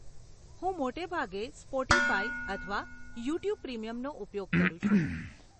હું મોટે ભાગે સ્પોટીફાય અથવા યુટ્યુબ પ્રીમિયમનો ઉપયોગ કરું છું.